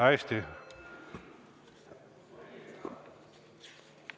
Hästi.